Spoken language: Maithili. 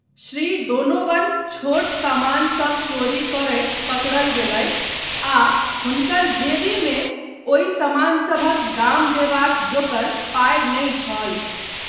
श्री डोनोवन छोट सामानसभ चोरी करैत पकड़ल गेलथि आ हुनकर जेबीमे ओहि समानसभक दाम देबाक जोकर पाय नहि छल।